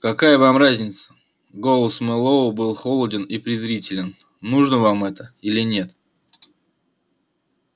какая вам разница голос мэллоу был холоден и презрителен нужно вам это или нет